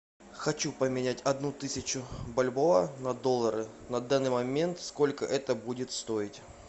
хочу поменять одну тысячу бальбоа на доллары на данный момент сколько это будет стоить